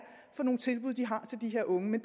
for nogle tilbud de har til de unge men